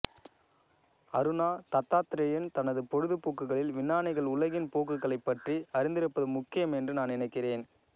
அருணா தத்தாத்ரேயன் தனது பொழுதுபோக்குகளில் விஞ்ஞானிகள் உலகின் போக்குகளைப் பற்றி அறிந்திருப்பது முக்கியம் என்று நான் நினைக்கிறேன்